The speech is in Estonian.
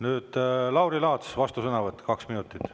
Nüüd Lauri Laats, vastusõnavõtt, kaks minutit.